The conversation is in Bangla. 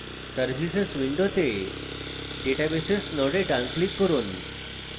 services window databases node ডান click করুন